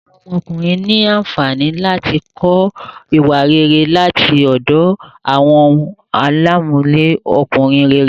Awọn ọmọkùnrin ní ànfàní láti kọ ìwà rere láti ọdọ awọn àlámọrí Ọkùnrin réré